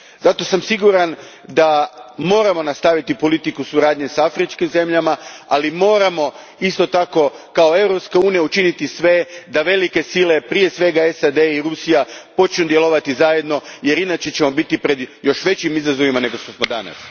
Zato sam siguran da moramo nastaviti politiku suradnje s afričkim zemljama, ali moramo isto tako, kao Europska unija, učiniti sve da velike sile, prije svega SAD i Rusija, počnu djelovati zajedno jer inače ćemo biti pred još većim izazovima nego što smo danas.